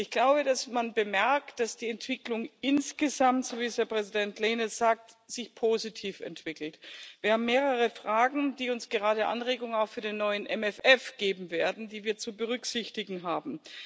Ich glaube, dass man bemerkt, dass die Entwicklung insgesamt, so wie es Herr Präsident Lehne sagt, positiv ist. Wir haben mehrere Fragen, die uns gerade Anregungen auch für den neuen MFR geben werden, die wir zu berücksichtigen haben.